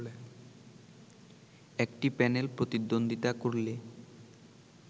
একটি প্যানেল প্রতিদ্বন্দ্বিতা করলে